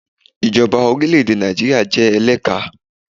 Ìjọba orílẹ̀ èdè Nàìjíríà jẹ́ eléka